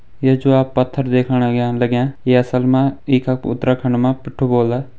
ये जो आप पत्थर दिख्येणा लाग्यां ये असल म ये कह उत्तराखंड म पिट्ठू बोल्दा।